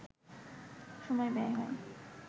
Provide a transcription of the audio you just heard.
সময় ব্যয় হয়